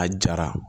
A jara